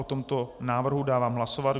O tomto návrhu dávám hlasovat.